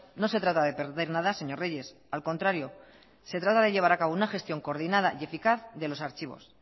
no se trata de perder nada señor reyes al contrario se trata de llevar a cabo una gestión coordinada y eficaz de los archivos